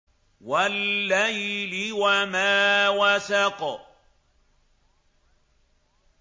وَاللَّيْلِ وَمَا وَسَقَ